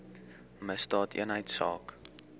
misdaadeenheidsaak